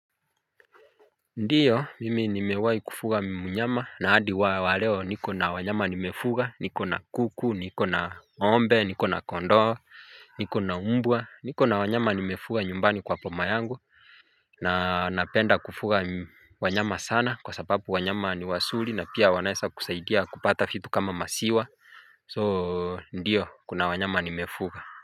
Ndiyo mimi nimewahi kufuga mnyama na hadi waleo niko na wanyama nimefuga niko na kuku niko na ng'ombe niko na kondoo niko na mbwa niko na wanyama nimefuga nyumbani kwa boma yangu na napenda kufuga wanyama sana kwa sababu wanyama ni wazuri na pia wanaweza kusaidia kupata vitu kama maziwa soo ndiyo kuna wanyama nimefuga. Kwa hivyo.